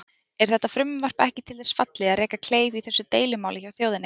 Er þetta frumvarp ekki til þess fallið að reka kleif í þessu deilumáli hjá þjóðinni?